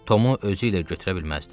Tomu özü ilə götürə bilməzdi.